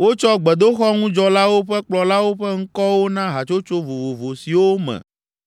Wotsɔ gbedoxɔŋudzɔlawo ƒe kplɔlawo ƒe ŋkɔwo na hatsotso vovovo siwo me